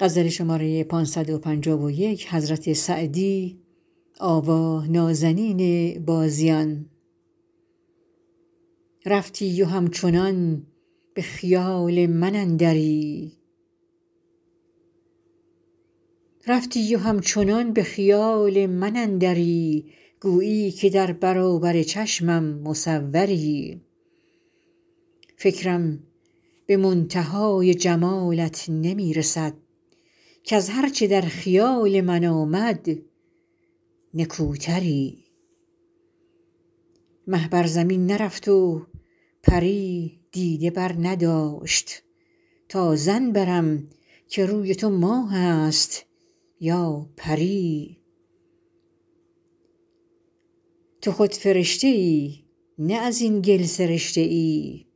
رفتی و همچنان به خیال من اندری گویی که در برابر چشمم مصوری فکرم به منتهای جمالت نمی رسد کز هر چه در خیال من آمد نکوتری مه بر زمین نرفت و پری دیده برنداشت تا ظن برم که روی تو ماه است یا پری تو خود فرشته ای نه از این گل سرشته ای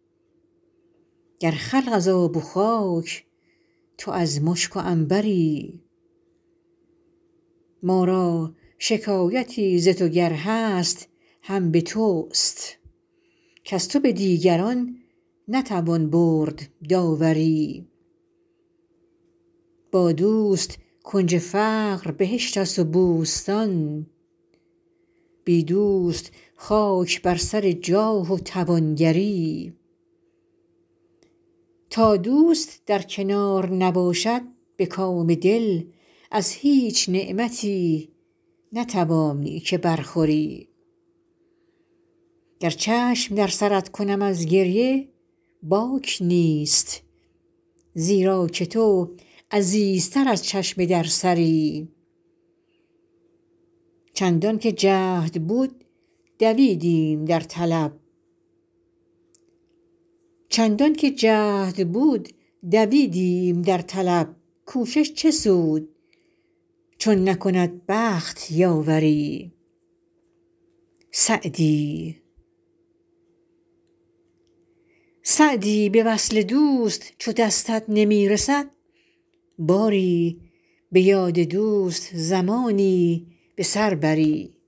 گر خلق از آب و خاک تو از مشک و عنبری ما را شکایتی ز تو گر هست هم به توست کز تو به دیگران نتوان برد داوری با دوست کنج فقر بهشت است و بوستان بی دوست خاک بر سر جاه و توانگری تا دوست در کنار نباشد به کام دل از هیچ نعمتی نتوانی که برخوری گر چشم در سرت کنم از گریه باک نیست زیرا که تو عزیزتر از چشم در سری چندان که جهد بود دویدیم در طلب کوشش چه سود چون نکند بخت یاوری سعدی به وصل دوست چو دستت نمی رسد باری به یاد دوست زمانی به سر بری